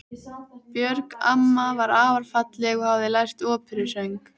Björg amma var afar falleg og hafði lært óperusöng.